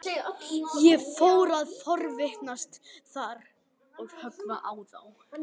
Ég fór að forvitnast þar og höggva í þá.